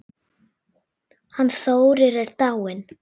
Hann Þórir er dáinn